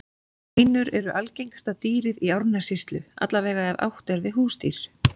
Hænur eru algengasta dýrið í Árnessýslu, alla vega ef átt er við húsdýr.